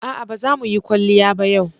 A'a ba za mu yi kwalliya ba yau.